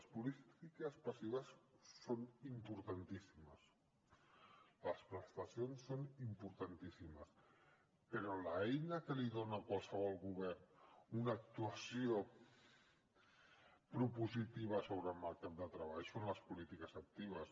les polítiques passives són importantíssimes les prestacions són importantíssimes però l’eina que dona a qualsevol govern una actuació propositiva sobre el mercat de treball són les polítiques actives